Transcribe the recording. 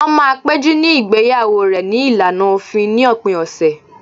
Wọ́n máa péjú ní igbeyawo rẹ̀ ní ìlànà òfin ní òpin ọ̀sẹ̀